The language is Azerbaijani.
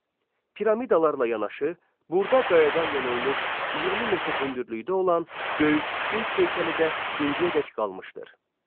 Piramidalarla yanaşı, burda qayadan yonulmuş 20 metr hündürlüyü olan böyük sfinks heykəli də indiyədək qalmışdır.